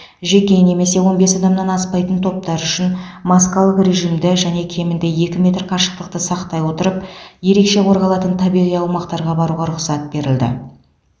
жеке немесе он бес адамнан аспайтын топтар үшін маскалық режимді және кемінде екі метр қашықтықты сақтай отырып ерекше қорғалатын табиғи аумақтарға баруға рұқсат берілді